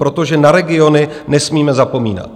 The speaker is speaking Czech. Protože na regiony nesmíme zapomínat.